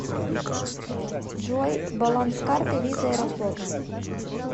джой баланс карты виза аэрофлот